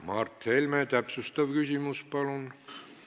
Mart Helme, täpsustav küsimus, palun!